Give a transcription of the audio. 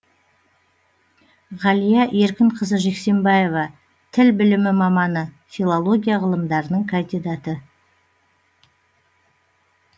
ғалия еркінқызы жексембаева тіл білімі маманы филология ғылымдарының кандидаты